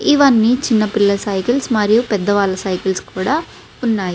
ఇవన్నీ చిన్న పిల్లల సైకిల్ మరియు పెద్ద వాళ్ళ సైకిల్స్ కూడా ఉన్నాయి.